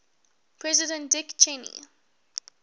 president dick cheney